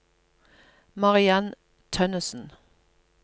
Mariann Tønnesen